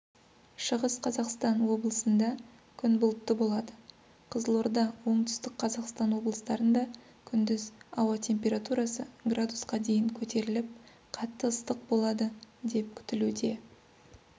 шығыс қазақстан облысында күн бұлтты болады қызылорда оңтүстік қазақстан облыстарында күндіз ауа температурасы градусқа дейін көтеріліп қатты ыстық болады деп күтілуде